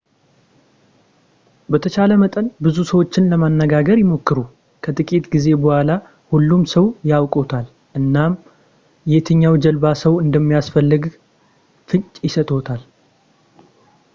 በተቻለ መጠን ብዙ ሰዎችን ለማነጋገር ይሞክሩ ከጥቂት ጊዜ በኋላ ሁሉም ሰው ያውቅዎታል እናም የትኛው ጀልባ ሰው እንደሚያስፈልገው ፍንጭ ይሰጥዎታል